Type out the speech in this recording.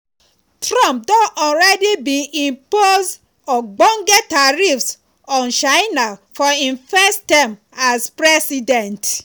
trump already bin impose ogbonge tariffs on china for im first term as president.